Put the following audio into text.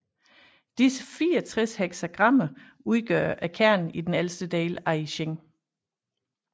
Disse 64 heksagrammer udgør kernen i den ældste del af I Ching